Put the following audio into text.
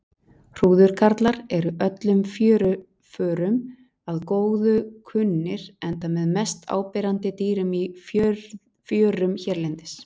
Hrúðurkarlar eru öllum fjöruförum að góðu kunnir enda með mest áberandi dýrum í fjörum hérlendis.